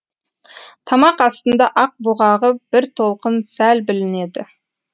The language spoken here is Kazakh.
тамақ астында ақ бұғағы бір толқын сәл білінеді